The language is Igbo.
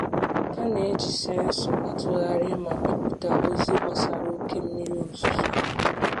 A na-eji sensọ atụgharị ma bipụta ozi gbasara oke mmiri ozuzo.